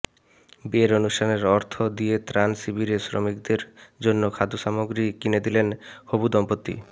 বিয়ের অনুষ্ঠানের অর্থ দিয়ে ত্রাণ শিবিরে শ্রমিকদের জন্য খাদ্য সামগ্রী কিনে দিলেন হবু দম্পতি